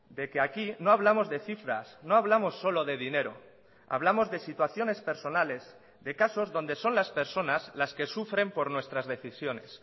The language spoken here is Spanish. de que aquí no hablamos de cifras no hablamos solo de dinero hablamos de situaciones personales de casos donde son las personas las que sufren por nuestras decisiones